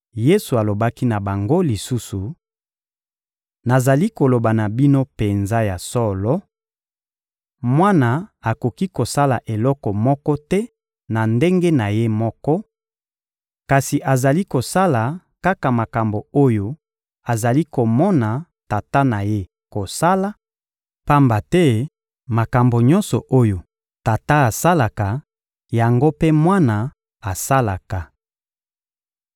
Yesu alobaki na bango lisusu: Nazali koloba na bino penza ya solo: Mwana akoki kosala eloko moko te na ndenge na Ye moko, kasi azali kosala kaka makambo oyo azali komona Tata na Ye kosala; pamba te makambo nyonso oyo Tata asalaka, yango mpe Mwana asalaka.